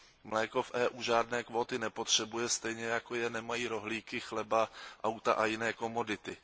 Mléko v EU žádné kvóty nepotřebuje, stejně jako je nemají rohlíky, chleba, auta a jiné komodity.